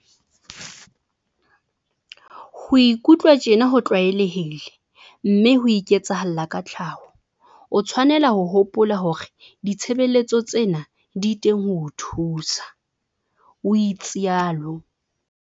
Ho ikutlwa tjena ho tlwaelehile mme ho iketsahalla ka tlhaho. O tshwanela ho hopola hore ditshebeletso tsena di teng ho o thusa, o itsalo.